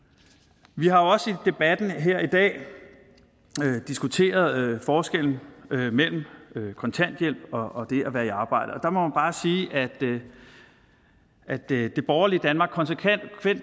vi har jo også i debatten her i dag diskuteret forskellen mellem at kontanthjælp og at være i arbejde og man bare sige at at det borgerlige danmark konsekvent